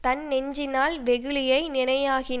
தன்னெஞ்சினால் வெகுளியை நினையானாகில்